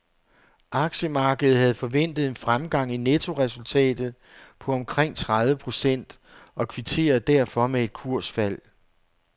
Aktiemarkedet havde forventet en fremgang i nettoresultatet på omkring tredive procent, og kvitterede derfor med et kursfald.